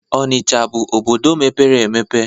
Onicha bụ obodo mepere emepe